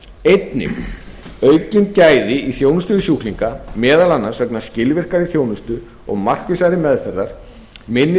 einnig aukin gæði í þjónustu við sjúklinga meðal annars vegna skilvirkari þjónustu og markvissari meðferðar minni